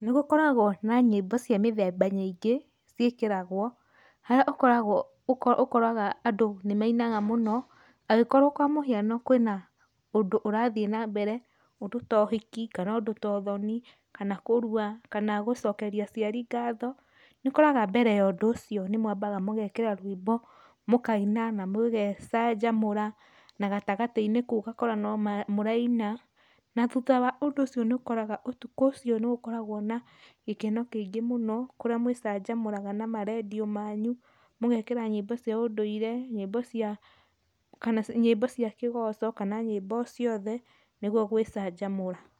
Nĩgũkoragwo na nyĩmbo cia mĩthemba nyingĩ ciĩkĩragwo, harĩa ũkoragwo, ũkoraga andũ nĩmainaga mũno, angĩkorwo kwa mũhiano kwĩna, ũndũ ũrathiĩ nambere, ũndũ to ũhiki, kana ũndũ to ũthoni, kana kũrua, kana gũcokeria aciari ngatho, nĩũkoraga mbere ya ũndũ ũcio nĩmwambaga mũgekĩra rwĩmbo, mũkaina na mũgecanjamũra, na gatagatĩ-inĩ kau ũgakora nomũraina, na thutha wa ũndũ ũcio nĩũkoraga ũtukũ ũcio nĩũkoragwo na gĩkeno kĩingĩ mũno, kũrĩa mwĩcanjamũraga na marendiũ manyu, mũgekĩra nyĩmbo cia ũndũire, nyĩmbo cia, kana nyĩmbo cia kĩgoco kana nyĩmbo o ciothe, nĩguo gwĩcanjamũra.